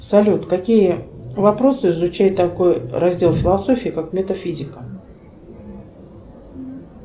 салют какие вопросы изучает такой раздел философии как метафизика